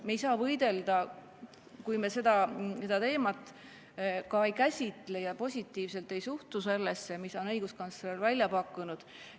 Me ei saa sellega võidelda, kui me seda teemat ei käsitle ega suhtu positiivselt sellesse, mis õiguskantsler on välja pakkunud.